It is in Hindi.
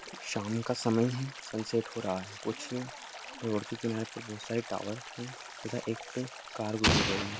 शाम का समय है सनसेट हो रहा है कुछ रोड के किनारे पर बहुत सारे टावर है तथा एक कार गुजर रही--